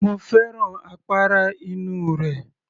Mo fẹ́ràn àpárá inú rẹ̀